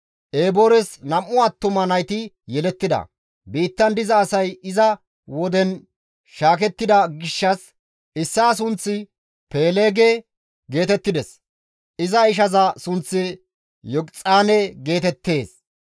Eboores nam7u attuma nayti yelettida; biittan diza asay iza woden shaakettida gishshas issaa sunththi Peeleege geetettides; iza ishaza sunththi Yoqixaane geetettees.